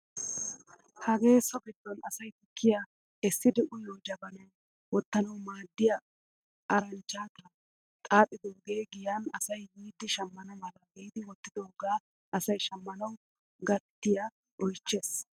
Hagee so giddon asay tukkiyaa essidi uyiyoo jabanaa wottanawu maaddiyaa arachchaataa xaaxidoogee giyaan asay yiidi shammana mala giidi wottidogaa asay shamanawu gatiyaa oychchees!